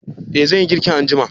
eh zan yi girki anjima